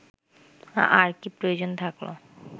আর কী প্রয়োজন থাকলো